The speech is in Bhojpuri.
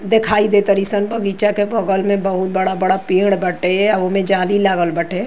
देखाई दे तरी सन। बगीचा के बगल में बहुत बड़ा-बड़ा पेड़ बाटे आ ओमे जाली लागल बाटे।